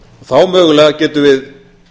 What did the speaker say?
þá mögulega getum við